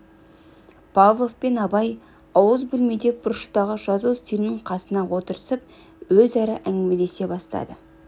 павлов пен абай ауыз бөлмеде бұрыштағы жазу үстелінің қасына отырысып өзара әңгімелесе бастады